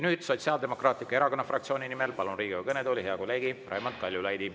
Nüüd palun Sotsiaaldemokraatliku Erakonna fraktsiooni nimel Riigikogu kõnetooli kõnelema hea kolleegi Raimond Kaljulaidi.